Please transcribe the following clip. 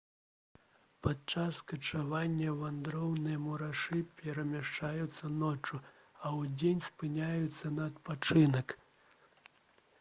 падчас качавання вандроўныя мурашы перамяшчаюцца ноччу а ўдзень спыняюцца на адпачынак